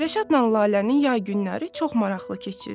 Rəşadla Lalənin yay günləri çox maraqlı keçirdi.